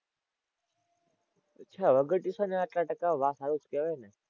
અચ્છા વગર ટ્યુશને આટલાં ટકા વાહ સારું જ કેવાયને.